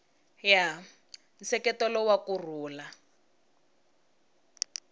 ya nseketelo wa ku rhula